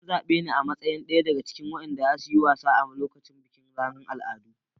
An zabe ni a matsayin daya daga cikin waɗanda za su yi wasa a lokacin bikin ranar al'adu.